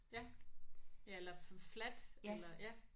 Ja ja eller fladt eller ja